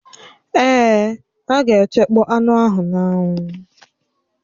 Èè, a ga-echekpọ anụ ahụ n'anwụ